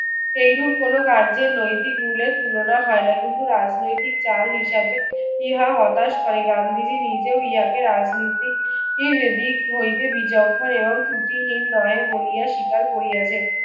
এইরূপ কোনো কার্যের নৈতিক ভুলের তুলনা হয় না। কিন্তু রাজনৈতিক চাল হিসেবে ইহা হতাশ করে। গান্ধীজি নিজেও ইহাকেও রাজনীতির দিক হইতে বিচক্ষণ এবং ত্রুটিহীন নয় বলিয়া স্বীকার করিয়াছেন।